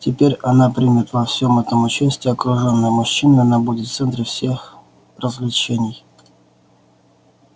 теперь она примет во всём этом участие окружённая мужчинами она будет в центре всех развлечений